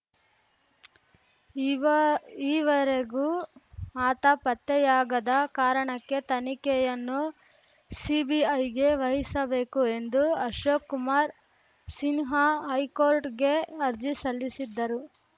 ಈವ ಈವೆರಗೂ ಆತ ಪತ್ತೆಯಾಗದ ಕಾರಣಕ್ಕೆ ತನಿಖೆಯನ್ನು ಸಿಬಿಐಗೆ ವಹಿಸಬೇಕು ಎಂದು ಅಶೋಕ್‌ ಕುಮಾರ್‌ ಸಿನ್ಹಾ ಹೈಕೋರ್ಟ್‌ಗೆ ಅರ್ಜಿ ಸಲ್ಲಿಸಿದ್ದರು